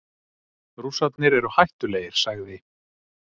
Rússarnir eru hættulegir, sagði